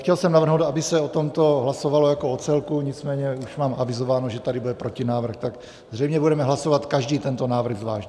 Chtěl jsem navrhnout, aby se o tomto hlasovalo jako o celku, nicméně už mám avizováno, že tady bude protinávrh, tak zřejmě budeme hlasovat každý tento návrh zvlášť.